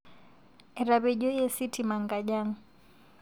Etepejoye sitima nkajang